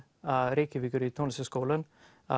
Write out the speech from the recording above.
Reykjavíkur í Tónlistarskólann